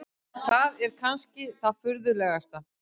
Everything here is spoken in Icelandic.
Það er kannski það furðulegasta.